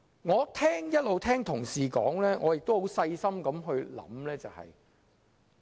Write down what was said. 我一直聆聽同事的發言，亦有細心思考。